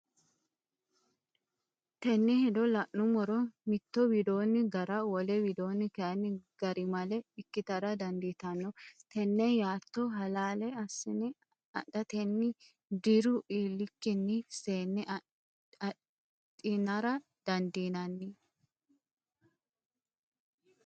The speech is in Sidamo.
Tenne hedo la’nummoro mitto widoonni gara, wole widoonni kayinni garimale ikkitara dandiitanno Tenne yaatto halaale assine adhatenni diru iillikkinni seenne adhinara dandiinanni?